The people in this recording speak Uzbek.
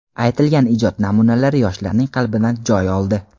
aytilgan ijod namunalari yoshlarning qalbidan joy oldi.